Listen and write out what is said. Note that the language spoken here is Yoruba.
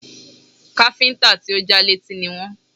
Káfíńtà tí ò já létí ni wọ́n